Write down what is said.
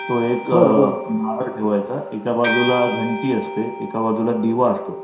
तो एक नारळ ठेवायचा एका बाजूला घंटी असते एका बाजूला दिवा असतो.